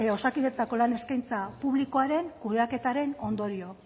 osakidetzako lan eskaintza publikoaren kudeaketaren ondorio